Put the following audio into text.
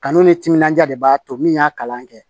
Kanu ni timinandiya de b'a to min y'a kalan kɛ